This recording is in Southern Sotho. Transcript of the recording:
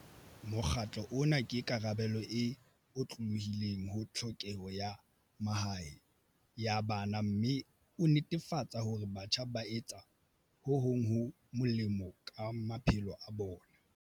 Mokgatlo ona ke karabelo e otlolohileng ho tlhokeho ya mahae ya bana mme o netefatsa hore batjha ba etsa ho hong ho molemo ka ma phelo a bona.